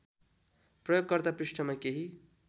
प्रयोगकर्ता पृष्ठमा केही